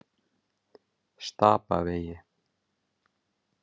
Stapavegi